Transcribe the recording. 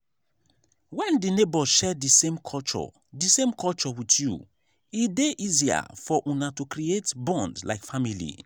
when di neighbour share di same culture di same culture with you e dey easier for una to creat bond like family